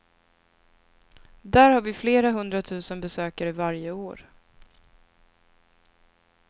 Där har vi flera hundratusen besökare varje år.